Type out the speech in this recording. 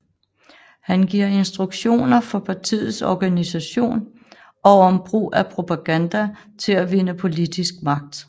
Han giver instruktioner for partiets organisation og om brug af propaganda til at vinde politisk magt